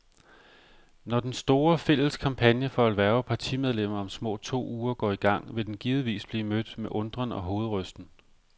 Når den store, fælles kampagne for at hverve partimedlemmer om små to uger går i gang, vil den givetvis blive mødt med undren og hovedrysten.